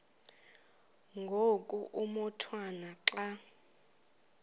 ngoku umotwana xa